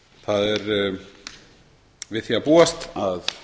það er við því að búast að